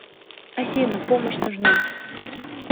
афина помощь нужна